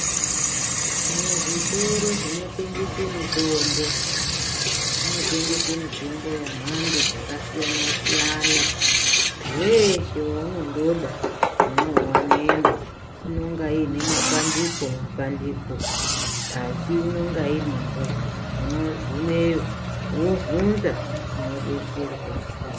Muzvitoro zvinotengese mitombo, zvinotengese mitombo yamhando dzakasiyana-siyana. Weeshe waunondoda, unouwanemwo. Inonga iine mapandiko-mapandiko, asi inonga irimo. Unogumeyo, wovhunza, unodetserwa.